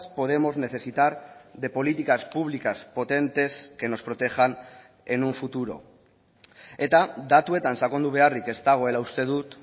podemos necesitar de políticas públicas potentes que nos protejan en un futuro eta datuetan sakondu beharrik ez dagoela uste dut